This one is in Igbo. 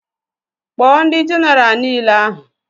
Kpọọ ndị jenaraal nile ahụ!